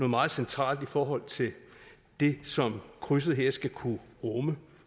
meget centralt i forhold til det som krydset her skal kunne rumme